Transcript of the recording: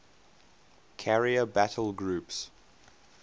carrier battle groups